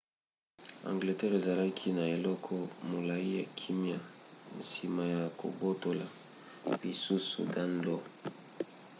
angleterre ezalaki na eleko molai ya kimia nsima ya kobotola lisusu danelaw